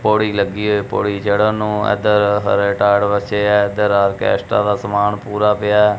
ਪੌੜੀ ਲੱਗੀ ਹੋ ਪੌੜੀ ਚੜਨ ਨੂੰ ਇਧਰ ਹਰੇ ਟਾਟ ਵਿਛੇ ਆ ਏਧਰ ਆਰਕੈਸਟਾਂ ਦਾ ਸਮਾਨ ਪੂਰਾ ਪਿਆ।